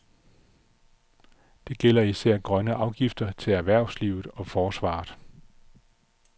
Det gælder især grønne afgifter til erhvervslivet og forsvaret.